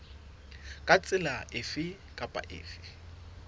ka tsela efe kapa efe